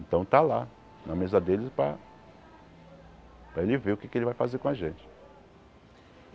Então está lá, na mesa dele para para ele ver o que ele vai fazer com a gente.